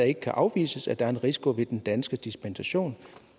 ikke kan afvises at der er en risiko ved den danske dispensation